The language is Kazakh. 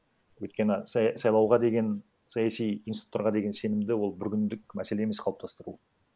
өйткені сайлауға деген саяси институттарға деген сенімді ол бір күндік мәселе емес қалыптастыру